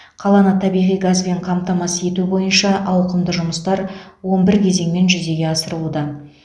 қаланы табиғи газбен қамтамасыз ету бойынша ауқымды жұмыстар он бір кезеңмен жүзеге асырылуда